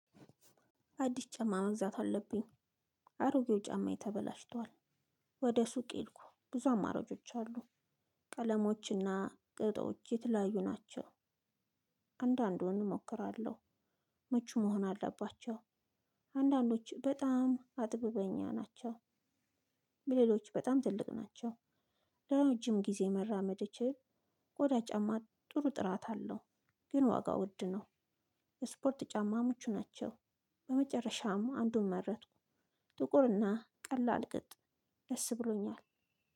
አዲስ ጫማ መግዛት አለብኝ አሮጌው ጫማየ ተበላሽቷል ወደ ሱቅ ሄድኩ ብዙ አማራጮች አሉ ቀለሞችና ቅጦች የተለያዩ ናቸው አንዳንዱን እሞክራለሁ መቼ መሆን አለባቸው አንዳንዶች በጣም አጥብበኛ ናቸው ፊደሎች በጣም ትልቅ ናቸው ለረጅም ጊዜ መራመድ እንድችል ቆዳ ጫማ ጥሩ ጥራት አለው። ግን ዋጋው ውድ ነው። የስፖርት ጫማ ምቹ ናቸው። በመጨረሻም አንዱን መረጥኩ። ጥቁር እና ቀላል ቅጥ ደስ ብሎኛል።